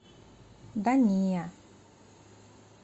да не